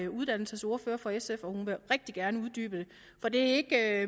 uddannelsesordfører for sf og hun vil rigtig gerne uddybe det for det er